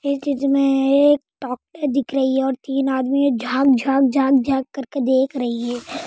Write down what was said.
इस छात्र में तीन आदमी क्या जनक जनक जनक रहे है।